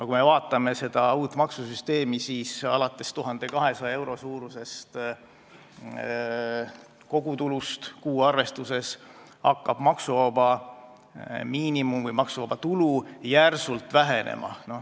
Kui me vaatame uut maksusüsteemi, siis näeme, et alates 1200 euro suurusest kogutulust kuuarvestuses hakkab maksuvaba tulu järsult vähenema.